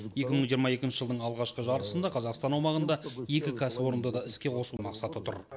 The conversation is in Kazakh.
екі мың жиырма екінші жылдың алғашқы жартысында қазақстан аумағында екі кәсіпорынды да іске қосу мақсаты тұр